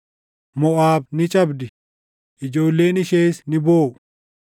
Moʼaab ni cabdi; ijoolleen ishees ni booʼu.